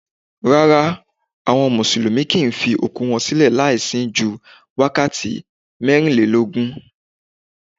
Rárá, àwọn Mùsùlùmí kì ń fi òkú wọn sílẹ̀ láì sin ju wákàtí mẹ́rin lélógún.